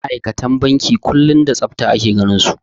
Ma'aikatan banki kullum da tsafta ake ganinsu.